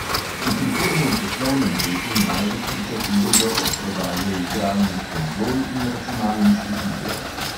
V prihodnjem poslovnem letu največ pričakujejo od prodaje igralnih konzol in računalniških iger.